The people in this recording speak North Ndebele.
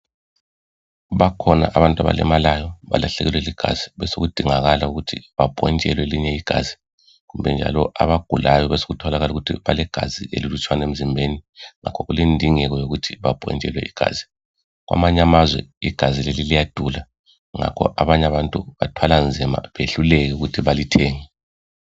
bakhona abantu abalimala balahlekelwe ligazi besekudingakala ukuthi baphontshelwe elinye igazi kumbe kwesinye isikhathi abagulayo besekutholakala ukuthi balegazi elilutshwane emzimbeni ngakho kulendingo yokuthi bapontshelwe igazi kwamanye amazwe igazi leli liyadula ngakho abanye abantu bathwala nzima behluleke ukuthi balithenge